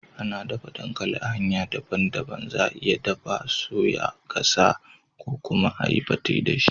Ana daffa dankali a hanya dabban dabban. Za'a iya daffa, soya, gasa ko kuma a yi pete da shi.